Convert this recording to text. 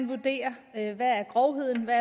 vurdering af hvad grovheden er